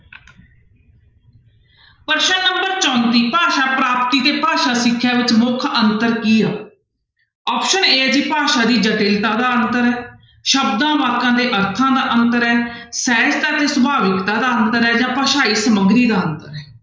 ਪ੍ਰਸ਼ਨ number ਚੌਂਤੀ ਭਾਸ਼ਾ ਪ੍ਰਾਪਤੀ ਤੇ ਭਾਸ਼ਾ ਸਿੱਖਿਆ ਵਿੱਚ ਮੁੱਖ ਅੰਤਰ ਕੀ ਆ option a ਹੈ ਜੀ ਭਾਸ਼ਾ ਦੀ ਜਟਿਲਤਾ ਦਾ ਅੰਤਰ, ਸ਼ਬਦਾਂ, ਵਾਕਾਂ ਦੇ ਅਰਥਾਂ ਦਾ ਅੰਤਰ ਹੈ, ਸਹਿਜਤਾ ਤੇ ਸੁਭਾਵਿਕਤਾ ਦਾ ਅੰਤਰ ਹੈ ਜਾਂ ਭਾਸ਼ਾਈ ਸਮੱਗਰੀ ਦਾ ਅੰਤਰ ਹੈ।